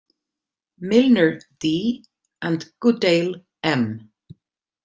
Milner, D And Goodale, M